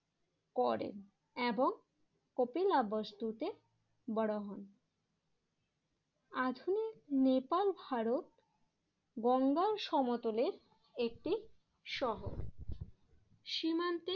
করেন এবং কপিলাবস্তুতে বড়ো হন। আধুনিক নেপাল ভারত গঙ্গার সমতলের একটি শহর সীমান্তে